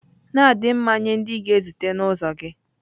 Na-adị mma nye ndị ị na-ezute na ụzọ gị.